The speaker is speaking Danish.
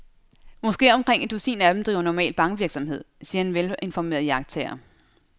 Måske omkring et dusin af dem driver normal bankvirksomhed, siger en velinformeret iagttager.